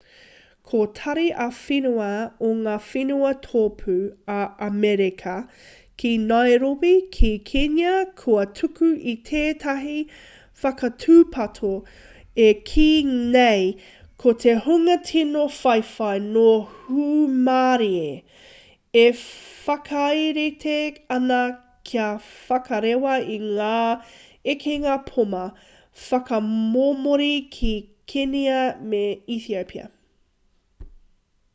ko tari ā-whenua o ngā whenua tōpū o amerika ki nairobi ki kenya kua tuku i tētahi whakatūpato e kī nei ko te hunga tino whawhai nō hūmārie e whakarite ana kia whakarewa i ngā ekenga poma whakamomori ki kenia me etiopia